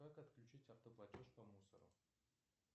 как отключить автоплатеж по мусору